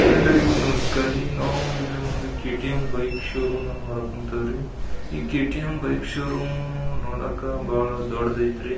ಎಲ್ಲರಿಗೂ ನಮಸ್ಕಾರ ರೀ ನಾವು ಇಲ್ಲಿ ಒಂದು ಕೆ.ಟಿ.ಎಂ ಬೈಕ್ ಷೋರೂಮ್ ಅನ್ನು ನೋಡಕ್ ಹೊಂತೀವ್ರಿ ಈ ಕೆ.ಟಿ.ಎಂ ಬೈಕ್ ಷೋರೂಮ್ ನೋಡಾಕ ಬಹಳ ದೊಡ್ಡದು ಅಯ್ತ್ರಿ --